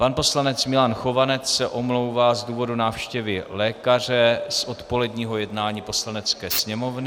Pan poslanec Milan Chovanec se omlouvá z důvodu návštěvy lékaře z odpoledního jednání Poslanecké sněmovny.